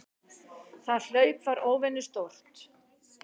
Það hlaup var óvenju stórt.